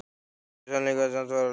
Þetta var í sannleika sagt fáránlegt!